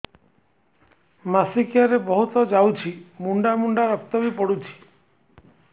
ମାସିକିଆ ରେ ବହୁତ ଯାଉଛି ମୁଣ୍ଡା ମୁଣ୍ଡା ରକ୍ତ ବି ପଡୁଛି